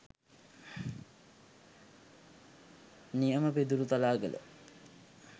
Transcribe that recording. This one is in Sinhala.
නියම පිදුරුතලාගල